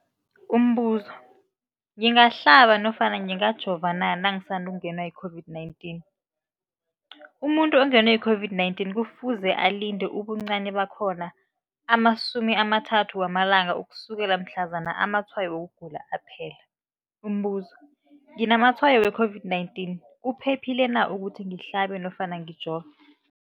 Umbuzo, ngingahlaba nofana ngingajova na nangisandu kungenwa yi-COVID-19? Umuntu ongenwe yi-COVID-19 kufuze alinde ubuncani bakhona ama-30 wama langa ukusukela mhlazana amatshayo wokugula aphela. Umbuzo, nginamatshayo we-COVID-19, kuphephile na ukuthi ngihlabe nofana ngijove?